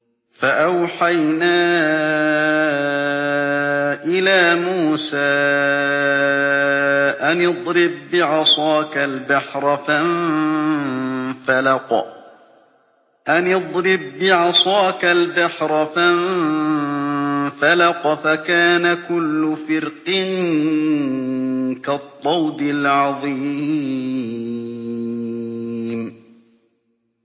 فَأَوْحَيْنَا إِلَىٰ مُوسَىٰ أَنِ اضْرِب بِّعَصَاكَ الْبَحْرَ ۖ فَانفَلَقَ فَكَانَ كُلُّ فِرْقٍ كَالطَّوْدِ الْعَظِيمِ